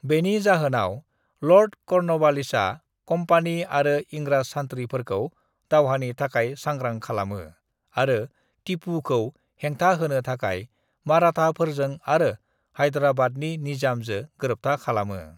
बेनि जाहोनाव लांर्ड कर्नवालिसआ कम्पानि आरो इंराज सानथ्रि फ़ोरखौ दावहानि थाखाइ सांग्रां खालामो आरो टीपू खौ हेंथा होनो थाखाय माराथा फ़ोरजों आरो हायदाराबाद नि निज़ाम जो गोरोबथा खालामो